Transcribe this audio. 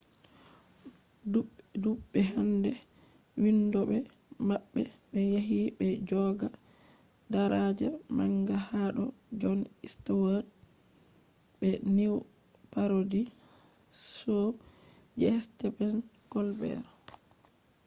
dudbe hander vindobe mabbe be yahi be joga daraja manga hado jon stewart be news parody show je stephen colbert